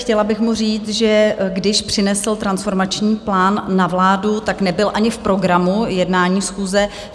Chtěla bych mu říct, že když přinesl transformační plán na vládu, tak nebyl ani v programu jednání schůze.